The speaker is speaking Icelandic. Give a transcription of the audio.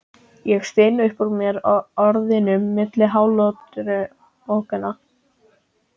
Ég styn upp úr mér orðunum milli hláturrokanna.